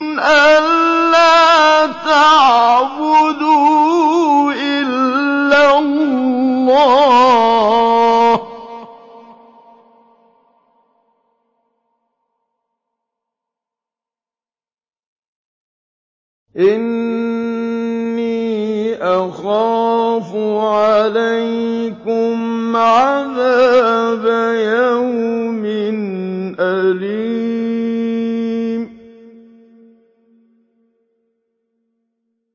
أَن لَّا تَعْبُدُوا إِلَّا اللَّهَ ۖ إِنِّي أَخَافُ عَلَيْكُمْ عَذَابَ يَوْمٍ أَلِيمٍ